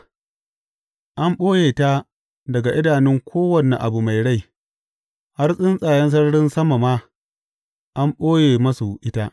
An ɓoye ta daga idanun kowane abu mai rai, har tsuntsayen sararin sama ma an ɓoye masu ita.